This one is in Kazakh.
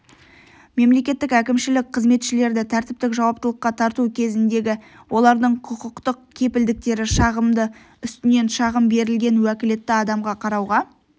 мемлекеттік әкімшілік қызметшілерді тәртіптік жауаптылыққа тарту кезіндегі олардың құқықтық кепілдіктері шағымды үстінен шағым берілген уәкілетті адамға қарауға